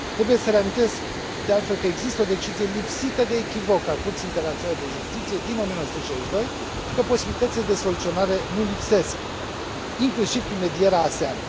Trebuie să reamintesc, de altfel, că există o decizie lipsită de echivoc a Curții Internaționale de Justiție, din 1962, și că posibilitățile de soluționare nu lipsesc, inclusiv prin medierea ASEAN.